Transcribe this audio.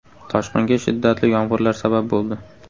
Toshqinga shiddatli yomg‘irlar sabab bo‘ldi.